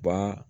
Ba